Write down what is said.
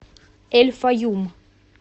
эль файюм